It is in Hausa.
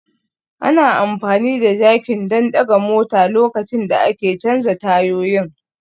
Ana amfani da jakin don ɗaga motar lokacin da ake canza tayoyin